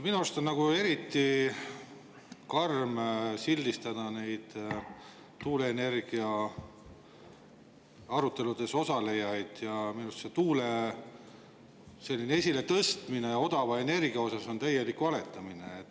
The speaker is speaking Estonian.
Minu arust on eriti karm sildistada tuuleenergia aruteludes osalejaid ja minu arust on tuule esiletõstmine odava energiana täielik valetamine.